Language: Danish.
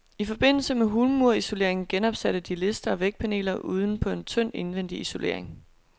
I forbindelse med hulmursisoleringen genopsatte de lister og vægpaneler uden på en tynd indvendig isolering.